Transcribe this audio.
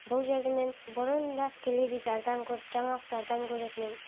бұл жерді мен бұрын да теледидардан көріп жаңалықтардан көретін ем